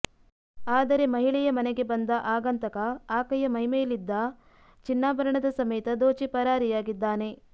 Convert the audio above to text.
ಆದರೆ ಮಹಿಳೆಯ ಮನೆಗೆ ಬಂದ ಆಗಂತಕ ಆಕೆಯ ಮೈಮೇಲಿದ್ದ ಚಿನ್ನಾಭರಣದ ಸಮೇತ ದೋಚಿ ಪರಾರಿಯಾಗಿದ್ದಾನೆ